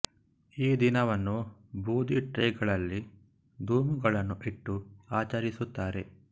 ಈ ದಿನವನ್ನು ಬೂದಿ ಟ್ರೇ ಗಳಲ್ಲಿ ಧೂಮುಗಳನ್ನು ಇಟ್ಟು ಆಚರಿಸುತ್ತಾರೆ